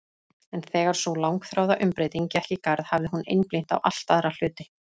En þegar sú langþráða umbreyting gekk í garð hafði hún einblínt á allt aðra hluti.